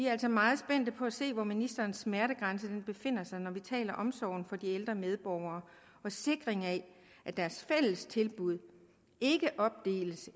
er altså meget spændte på at se hvor ministerens smertegrænse befinder sig når vi taler om omsorgen for de ældre medborgere og sikringen af at deres fællestilbud ikke opdeles